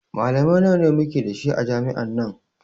Malamai nawa muke da shi a jami'an nan